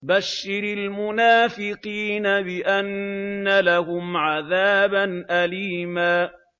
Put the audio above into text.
بَشِّرِ الْمُنَافِقِينَ بِأَنَّ لَهُمْ عَذَابًا أَلِيمًا